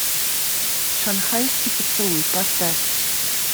шанхайский поцелуй поставь